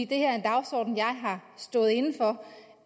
det her er en dagsorden jeg har stået inde for